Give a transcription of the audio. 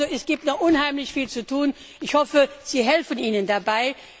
Es gibt also noch unheimlich viel zu tun, ich hoffe, Sie helfen ihnen dabei.